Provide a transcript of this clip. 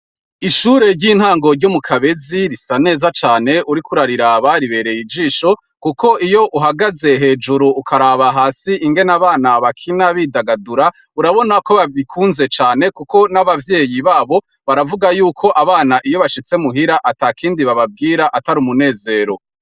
Ishure ry' intango ryo mu Kabezi risa neza cane, uriko ukariraba ribereye ijisho, kuko iyo uhagaze hejuru ukariraba hasi, ingene abana bakina bidagadura, urabona ko babikunze cane kuko n' abavyeyi babo, baravuga y'uko abana iyo bashitse muhira atakindi bababwire atari umunezero.